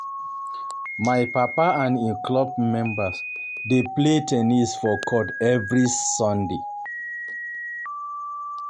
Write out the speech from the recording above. My papa and im club members dey play ten nis for court every Sunday.